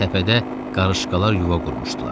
Təpədə qarışqalar yuva qurmuşdular.